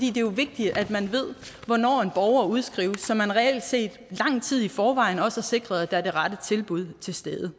er jo vigtigt at man ved hvornår en borger udskrives så man reelt set lang tid i forvejen også har sikret at der er det rette tilbud til stede